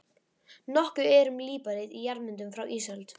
Nokkuð er um líparít í jarðmyndunum frá ísöld.